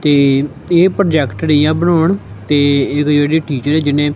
ਤੇ ਇਹ ਪ੍ਰੋਜੈਕਟ ਰਹੀ ਆ ਬਣਾਉਣ ਤੇ ਏਦੇ ਜਿਹੜੇ ਟੀਚਰ ਏ ਜਿੰਨੇ--